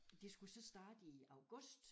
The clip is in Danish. De skulle så starte i august